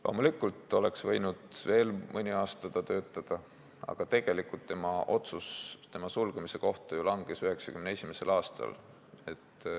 Loomulikult oleks ta võinud veel mõne aasta töötada, aga otsus tema sulgemise kohta langes ju tegelikult 1991. aastal.